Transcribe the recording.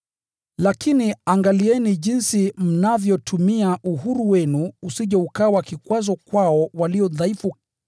Lakini angalieni jinsi mnavyotumia uhuru wenu usije ukawa kikwazo kwao walio dhaifu.